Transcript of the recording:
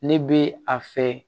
Ne bɛ a fɛ